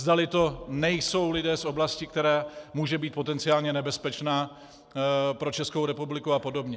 Zdali to nejsou lidé z oblasti, která může být potenciálně nebezpečná pro Českou republiku a podobně.